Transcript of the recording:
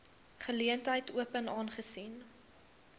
geleentheid open aangesien